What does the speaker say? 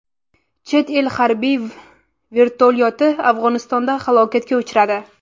Chet el harbiy vertolyoti Afg‘onistonda halokatga uchradi.